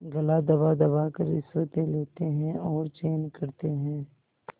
गला दबादबा कर रिश्वतें लेते हैं और चैन करते हैं